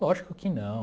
Lógico que não.